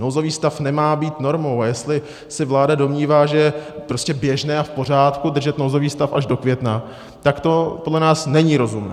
Nouzový stav nemá být normou, a jestli se vláda domnívá, že je prostě běžné a v pořádku držet nouzový stav až do května, tak to podle nás není rozumné.